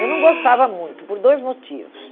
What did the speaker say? Eu não gostava muito, por dois motivos.